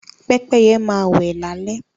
Pẹ́pẹ́yẹ máa wẹ́ lálé